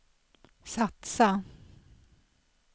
satsa